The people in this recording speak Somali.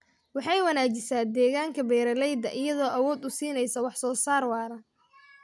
Waxay wanaajisaa deegaanka beeralayda iyadoo awood u siinaysa wax soo saar waara.